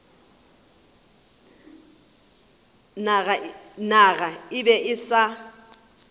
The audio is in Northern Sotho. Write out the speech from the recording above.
naga e be e sa